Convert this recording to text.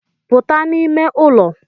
Puta n'ime ụlọ